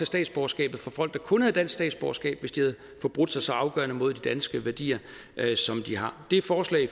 statsborgerskabet fra folk der kun havde dansk statsborgerskab hvis de havde forbrudt sig så afgørende mod de danske værdier som de har det forslag